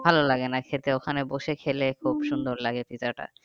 ভালো লাগে না খেতে ওখানে বসে খেলে লাগে পিৎজাটা